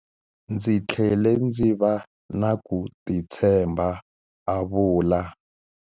Ndzi tlhele ndzi va na ku titshemba, a vula.